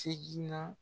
Segin na